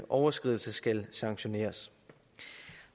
overskridelse skal sanktioneres